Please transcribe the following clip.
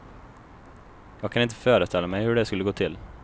Jag kan inte föreställa mig hur det skulle gå till.